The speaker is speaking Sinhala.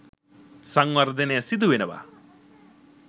සංවර්ධනය සිදුවෙනවා